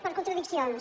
per contradiccions